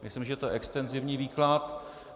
Myslím, že to je extenzivní výklad.